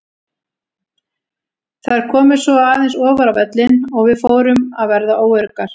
Þær komu svo aðeins ofar á völlinn og við fórum að verða óöruggar.